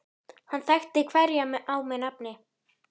Hann þekkti hverja á með nafni.